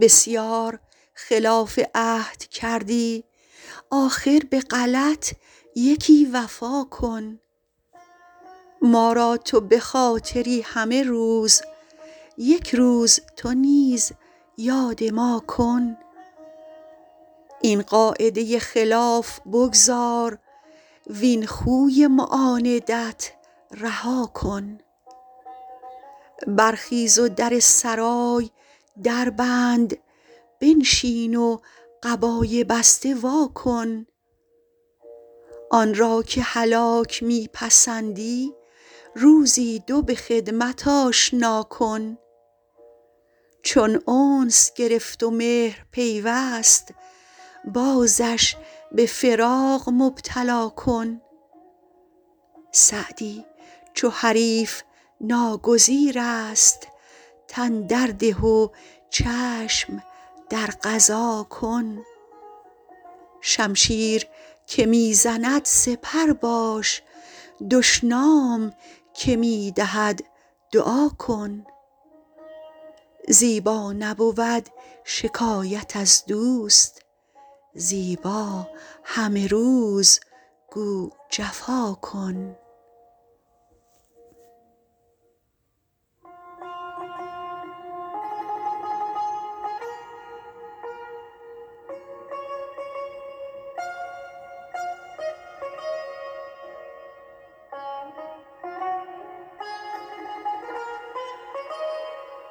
بسیار خلاف عهد کردی آخر به غلط یکی وفا کن ما را تو به خاطری همه روز یک روز تو نیز یاد ما کن این قاعده خلاف بگذار وین خوی معاندت رها کن برخیز و در سرای در بند بنشین و قبای بسته وا کن آن را که هلاک می پسندی روزی دو به خدمت آشنا کن چون انس گرفت و مهر پیوست بازش به فراق مبتلا کن سعدی چو حریف ناگزیر است تن در ده و چشم در قضا کن شمشیر که می زند سپر باش دشنام که می دهد دعا کن زیبا نبود شکایت از دوست زیبا همه روز گو جفا کن